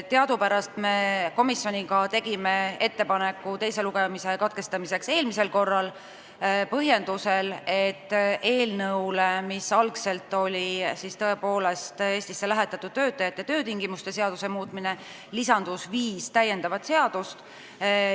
Teadupärast tegime me komisjoniga ettepaneku teise lugemise katkestamiseks eelmisel korral, põhjendusega, et eelnõusse, mis algselt oli tõepoolest Eestisse lähetatud töötajate töötingimuste seaduse muutmine, lisandus viis seadust.